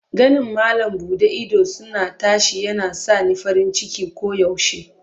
Ganin malam bude idosuna tashi yana sa ni farin ciki koyaushe.